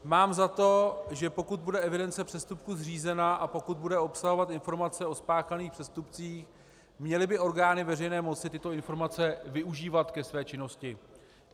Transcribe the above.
Mám za to, že pokud bude evidence přestupků zřízena a pokud bude obsahovat informace o spáchaných přestupcích, měly by orgány veřejné moci tyto informace využívat ke své činnosti.